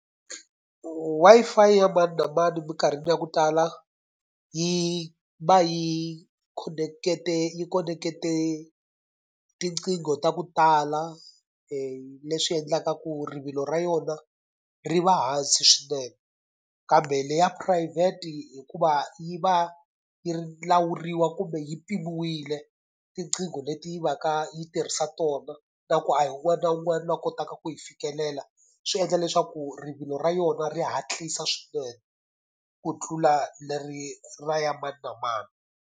Wi-Fi ya mani na mani minkarhini ya ku tala yi va yi yi khonekete tinqingho ta ku tala leswi endlaka ku rivilo ra yona ri va hansi swinene. Kambe leyi ya phurayivhete hikuva yi va yi ri lawuriwa kumbe yi mpimiwile tiqingho leti va ka yi tirhisa tona, na ku a hi un'wana na un'wana loyi a kotaka ku yi fikelela, swi endla leswaku rivilo ra yona ri hatlisa swinene ku tlula leri ra ya mani na mani.